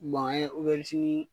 an ye obɛrizinii